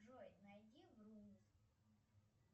джой найди врумиз